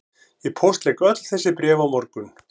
Ég póstlegg öll þessi bréf á morgun